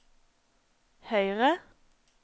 høyre